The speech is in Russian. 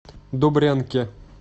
добрянке